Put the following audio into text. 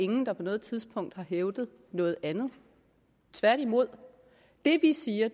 ingen der på noget tidspunkt har hævdet noget andet tværtimod det vi siger